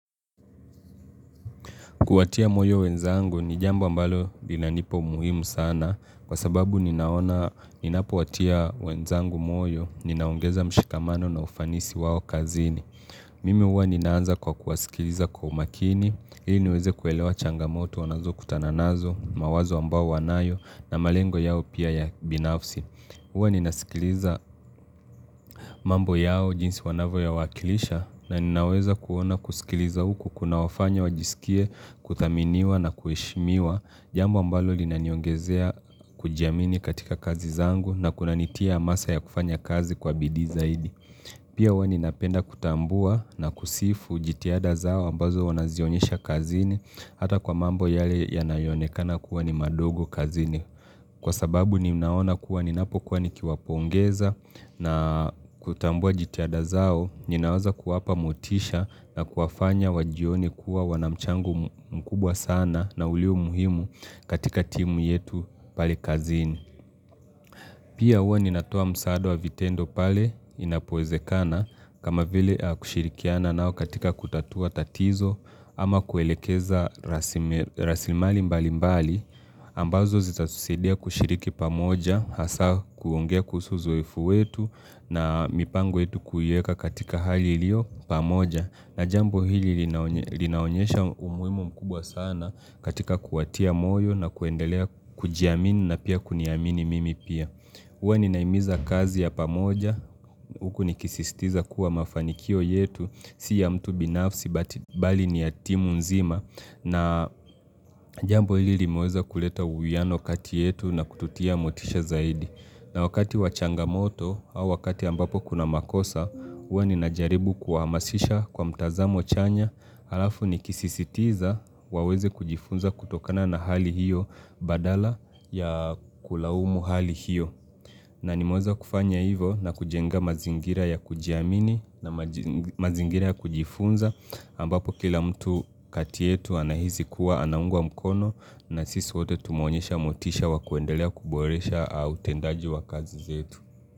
Kuwatia moyo wenzangu ni jambo ambalo linanipa umuhimu sana kwa sababu ninaona, ninapowatia wenzangu moyo, ninaongeza mshikamano na ufanisi wao kazini. Mimi huwa ninaanza kwa kuwasikiliza kwa umakini, ili niweze kuelewa changamoto wanazokutana nazo, mawazo ambao wanayo na malengo yao pia ya binafsi. Huwa ninasikiliza mambo yao jinsi wanavyoyawakilisha na ninaweza kuona kusikiliza huku kunawafanya wajisikie kuthaminiwa na kuheshimiwa jambo ambalo linaniongezea kujiamini katika kazi zangu na kunanitia masaa ya kufanya kazi kwa bidii zaidi. Pia huwa ninapenda kutambua na kusifu jitihada zao ambazo wanazionyesha kazini hata kwa mambo yale yanayoonekana kuwa ni madogo kazini. Kwa sababu ninaona kuwa ninapokuwa nikiwapongeza na kutambua jitihada zao, ninaweza kuwapa motisha na kuwafanya wajione kuwa wanamchango mkubwa sana na ulio muhimu katika timu yetu pale kazini. Pia huwa ninatoa msaada wa vitendo pale inapowezekana kama vile kushirikiana nao katika kutatua tatizo ama kuelekeza rasimali mbali mbali ambazo zitatusadia kushiriki pamoja hasa kuongea kuhusu uzoefu wetu na mipango yetu kuiweka katika hali iliyo pamoja. Na jambo hili linaonyesha umuhimu mkubwa sana katika kuwatia moyo na kuendelea kujiamini na pia kuniamini mimi pia. Huwa ninahimiza kazi ya pamoja, huku nikisisitiza kuwa mafanikio yetu, si ya mtu binafsi, but bali ni ya timu nzima. Na jambo hili limeweza kuleta uwiiano kati yetu na kututia motisha zaidi. Na wakati wa changamoto au wakati ambapo kuna makosa huwa ninajaribu kuwahamasisha kwa mtazamo chanya halafu nikisisitiza waweze kujifunza kutokana na hali hiyo badala ya kulaumu hali hiyo. Na nimeweza kufanya hivyo na kujenga mazingira ya kujiamini na mazingira ya kujifunza ambapo kila mtu kati yetu anahisi kuwa anaungwa mkono na sisi wote tumeonyesha motisha wa kuendelea kuboresha utendaji wa kazi zetu.